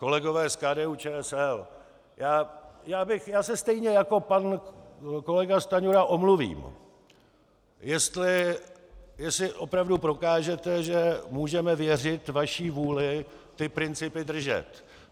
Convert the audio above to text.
Kolegové z KDU-ČSL, já se stejně jako pan kolega Stanjura omluvím, jestli opravdu prokážete, že můžeme věřit vaší vůli ty principy držet.